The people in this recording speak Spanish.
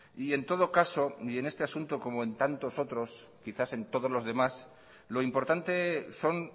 y en todo caso y en este caso como en tantos otros quizás en todos los demás lo importante son